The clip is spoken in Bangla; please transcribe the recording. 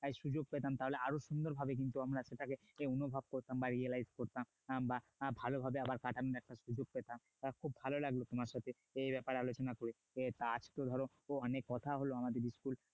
সুযোগ পেতাম তাহলে আরো সুন্দরভাবে কিন্তু আমরা সেটাকে অনুভব করতাম বা realize করতাম উম বা ভালভাবে কাটানোর একটা সুযোগ পেতাম খুব ভালো লাগলো তোমার সাথে এ ব্যাপারে আলোচনা করে আজ তো ধরো অনেক কথা হল আমাদের school